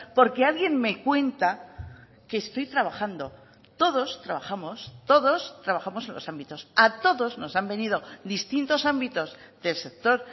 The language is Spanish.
porque alguien me cuenta que estoy trabajando todos trabajamos todos trabajamos en los ámbitos a todos nos han venido distintos ámbitos del sector